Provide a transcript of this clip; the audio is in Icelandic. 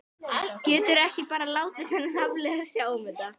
Geturðu ekki bara látið þennan Hafliða sjá um þetta?